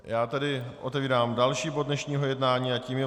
Já tedy otevírám další bod dnešního jednání a tím je